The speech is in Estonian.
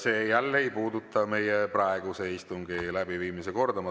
See jälle ei puuduta meie praeguse istungi läbiviimise korda.